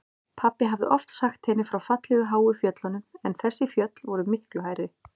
Pabbi hafði oft sagt henni frá fallegu háu fjöllunum en þessi fjöll voru miklu hærri.